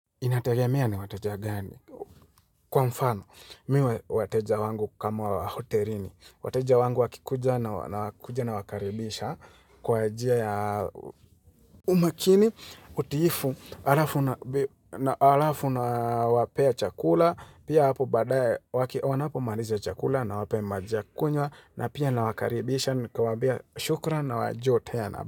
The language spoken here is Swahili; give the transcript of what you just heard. Inategemea ni wateja gani? Kwa mfano, mi wateja wangu kama wa hotelini. Wateja wangu wakikuja nawakaribisha kwa njia ya umakini utiifu alafu na wapea chakula. Pia hapo badaye wakiona unapo maliza chakula na wape maji ya kunywa na pia na wakaribisha. Nikiwambia shukran na waje tena.